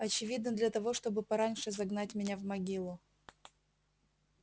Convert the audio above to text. очевидно для того чтобы пораньше загнать меня в могилу